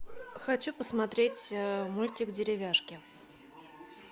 хочу посмотреть мультик деревяшки